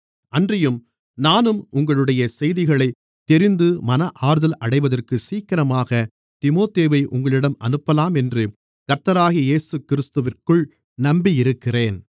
அன்றியும் நானும் உங்களுடைய செய்திகளைத் தெரிந்து மன ஆறுதல் அடைவதற்குச் சீக்கிரமாகத் தீமோத்தேயுவை உங்களிடம் அனுப்பலாம் என்று கர்த்தராகிய இயேசுவிற்குள் நம்பியிருக்கிறேன்